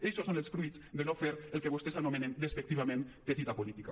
eixos són els fruits de no fer el que vostès anomenen despectivament petita política